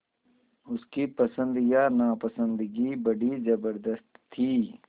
उसकी पसंद या नापसंदगी बड़ी ज़बरदस्त थी